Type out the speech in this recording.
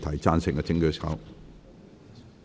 贊成的請舉手。